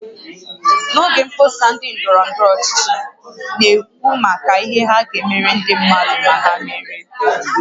N'oge mkpọsa ndị ndọrọ ndọrọ ọchịchị na-ekwu maka ihe ha ga-emere ndị mmadụ ma ha merie